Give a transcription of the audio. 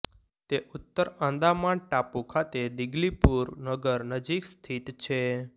તે ઉત્તર આંદામાન ટાપુ ખાતે દિગલીપુર નગર નજીક સ્થિત છે